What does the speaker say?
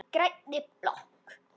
Í grænni blokk